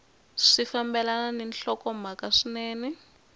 swi fambelana ni nhlokomhaka swinene